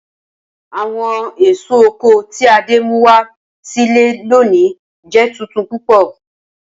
Awọn eso oko ti Ade mu wa si ile loni jẹ tuntun pupọ.